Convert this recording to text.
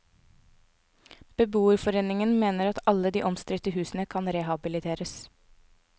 Beboerforeningen mener at alle de omstridte husene kan rehabiliteres.